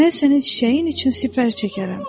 Mən sənin çiçəyin üçün sipər çəkərəm.